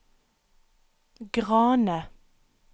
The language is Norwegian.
Grane